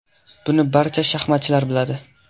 Buni barcha shaxmatchilar biladi.